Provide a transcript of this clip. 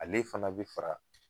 Ale fana bi fara.